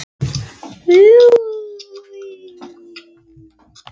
Við ógnir höfuðskepnanna bættist kafbátahættan, sem var alltaf nálæg.